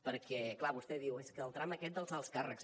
perquè clar vostè diu és que el tram aquest dels alts càrrecs